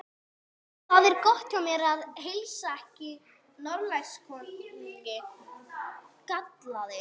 Það var gott hjá mér að heilsa ekki Noregskonungi, galaði